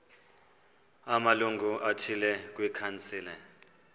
amalungu athile kwikhansile